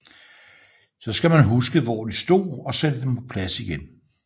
Så skal man huske hvor de stod og sætte dem på plads igen